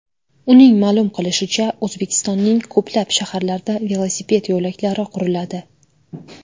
Uning ma’lum qilishicha, O‘zbekistonning ko‘plab shaharlarida velosiped yo‘laklari quriladi.